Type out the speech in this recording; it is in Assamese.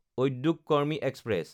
উদ্যোগ কৰ্মী এক্সপ্ৰেছ